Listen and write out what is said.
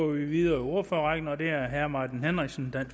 vi videre i ordførerrækken og det er herre martin henriksen